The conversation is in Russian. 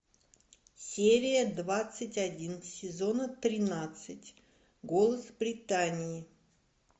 серия двадцать один сезона тринадцать голос британии